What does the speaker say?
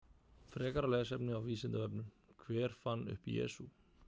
Frekara lesefni á Vísindavefnum: Hver fann upp Jesú?